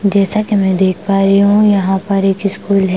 जैसा कि मैं देख पा रही हूं यहां पर एक स्कूल है।